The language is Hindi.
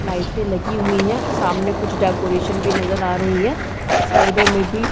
लाइटें लगी हुई है सामने कुछ डेकोरेशन भी नजर आ रही है साइडों में भी --